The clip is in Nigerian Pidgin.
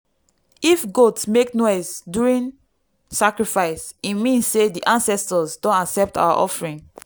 if goat make noise during sacrifice e mean say di ancestors don accept our offering.